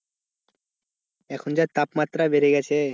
এখন যা তাপমাত্রা বেড়ে গেছে।